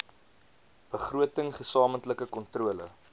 begroting gesamentlike kontrole